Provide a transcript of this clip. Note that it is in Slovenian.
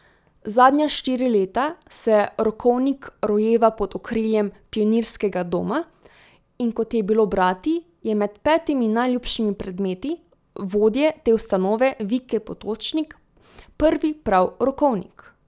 Zadnja štiri leta se rokovnik rojeva pod okriljem Pionirskega doma, in kot je bilo brati, je med petimi najljubšimi predmeti vodje te ustanove Vike Potočnik prvi prav rokovnik.